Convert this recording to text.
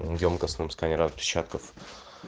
в ёмкостном сканере отпечатков